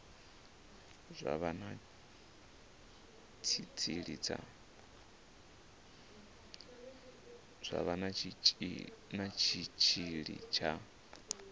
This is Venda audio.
zwa vha na tshitshili tsha